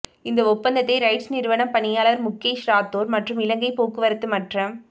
இந்த ஒப்பந்தத்தை ரைட்ஸ் நிறுவனம் பணிப்பாளர் முக்கேஷ் ராத்தோர் மற்றும் இலங்கை போக்குவரத்து மற்றம்